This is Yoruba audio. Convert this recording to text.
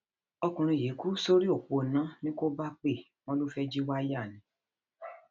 ọkùnrin yìí kú sórí òpó iná ní kóbápè wọn ló fẹẹ jí wáyà ni